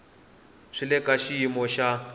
swi le ka xiyimo xa